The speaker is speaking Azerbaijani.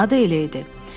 Adı elə idi.